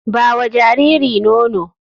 Ba wa jariri nono.